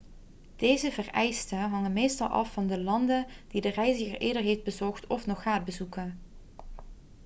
deze vereisten hangen meestal af van de landen die de reiziger eerder heeft bezocht of nog gaat bezoeken